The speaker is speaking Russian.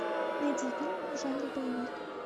найди фильмы в жанре боевик